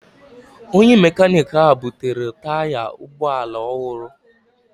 Onye mekaniki ahụ butere taya ụgbọ ala ọhụrụ.